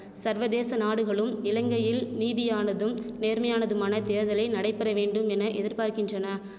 சர்வதேச நாடுகளும் இலங்கையில் நீதியானதும் நேர்மையானதுமான தேர்தலை நடைபெறவேண்டும் என எதிர்பார்க்கின்றன